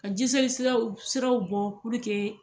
Ka jiseli siraw siraw bɔ puruke